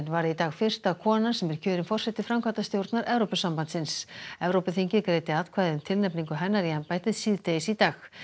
varð í dag fyrsta konan sem er kjörin forseti framkvæmdastjórnar Evrópusambandsins Evrópuþingið greiddi atkvæði um tilnefningu hennar í embættið síðdegis í dag